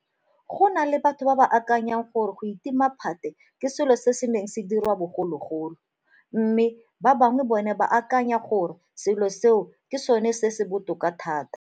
Go na le batho ba ba akanyang gore go itima phate ke selo seo se neng se diriwa bogologolo, mme ba bangwe bona ba akanya gore selo seo ke sona se se botoka thata.